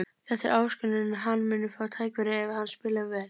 Þetta er áskorun en hann mun fá tækifæri ef hann spilar vel.